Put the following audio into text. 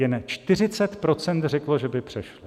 Jen 40 % řeklo, že by přešli.